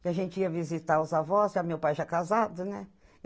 Que a gente ia visitar os avós, já meu pai já casado, né?